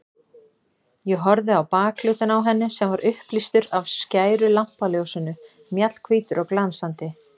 Ég horfði á bakhlutann á henni sem var upplýstur af skæru lampaljósinu, mjallhvítur og glansandi.